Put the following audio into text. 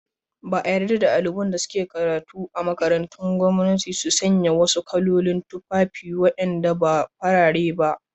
Ba a yarda daliban da ke karatu a makarantun gwanmnati su sanya wasu kalolin tufafi wadanda ba farare ba.